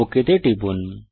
okay তে টিপুন